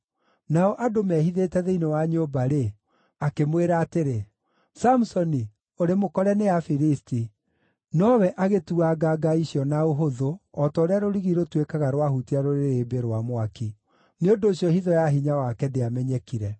Nao andũ mehithĩte thĩinĩ wa nyũmba-rĩ, akĩmwĩra atĩrĩ, “Samusoni, ũrĩ mũkore nĩ Afilisti!” Nowe agĩtuanga nga icio na ũhũthũ o ta ũrĩa rũrigi rũtuĩkaga rwahutia rũrĩrĩmbĩ rwa mwaki. Nĩ ũndũ ũcio hitho ya hinya wake ndĩamenyekire.